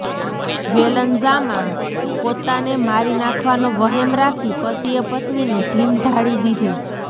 વેલંજામા પોતાને મારી નાખવાનો વહેમ રાખી પતિએ પત્નીનું ઢીમ ઢાળી દીધું